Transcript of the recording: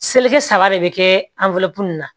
Seleke saba de bi kɛ nin na